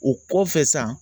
O kɔfɛ san